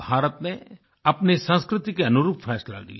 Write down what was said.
भारत ने अपने संस्कृति के अनुरूप फैसला लिया